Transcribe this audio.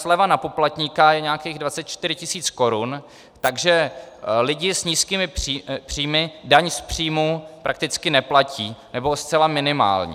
Sleva na poplatníka je nějakých 24 tisíc korun, takže lidi s nízkými příjmy daň z příjmu prakticky neplatí, nebo zcela minimální.